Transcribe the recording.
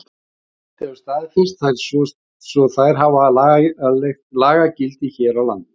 Ísland hefur staðfest þær svo þær hafa lagagildi hér á landi.